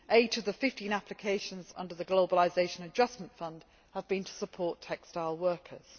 Eight of the fifteen applications under the Globalisation Adjustment Fund have been to support textile workers.